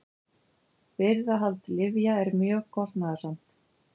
Birgðahald lyfja er mjög kostnaðarsamt.